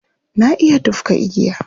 Na iya tufka igiya.